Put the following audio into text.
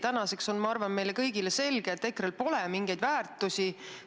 Tänaseks on, ma arvan, meile kõigile selge, et EKRE-l pole mingeid väärtusi.